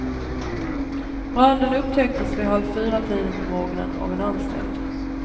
Branden upptäcktes vid halv fyratiden på morgonen av en anställd.